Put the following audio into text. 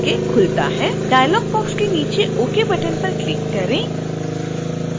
dialogue box के नीचे ok button पर क्लिक करें